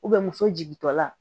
muso jigintɔ la